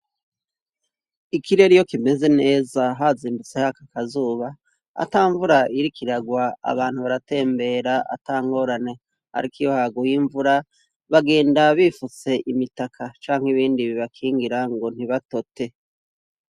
Ikirere iyo kimeze neza hazindutse hari akazuba, atamvura iriko iragwa, abantu baratembera atangorane, ariko iyo yaguye bagenda bifutse imitaka canke ibindi bibakingira ngo ntibatote.